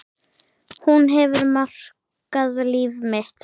Hún hefur markað líf mitt.